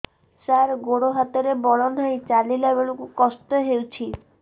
ସାର ଗୋଡୋ ହାତରେ ବଳ ନାହିଁ ଚାଲିଲା ବେଳକୁ କଷ୍ଟ ହେଉଛି